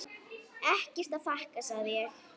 Ekkert að þakka, segi ég.